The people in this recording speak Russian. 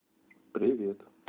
привет